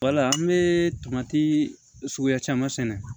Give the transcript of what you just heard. Wala an bɛ tomati suguya caman sɛnɛ